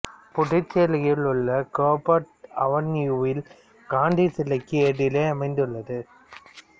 புதுச்சேரியில் உள்ள கோபர்ட் அவென்யூவில் காந்தி சிலைக்கு எதிரே அமைந்துள்ளது